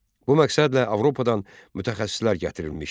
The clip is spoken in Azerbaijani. Bu məqsədlə Avropadan mütəxəssislər gətirilmişdi.